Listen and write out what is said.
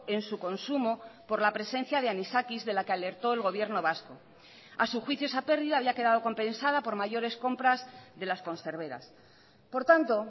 en su consumo por la presencia de anisakis de la que alertó el gobierno vasco a su juicio esa pérdida había quedado compensada por mayores compras de las conserveras por tanto